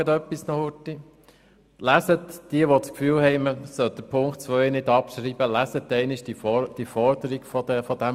Alle diejenigen, die das Gefühl haben, man müsse Ziffer 2 nicht abschreiben, lesen Sie bitte einmal die Forderung dieser Ziffer.